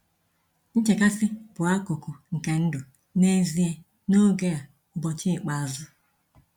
Nchekasị bụ akụkụ nke ndụ n’ezie n’oge a ‘ụbọchị ikpeazụ.’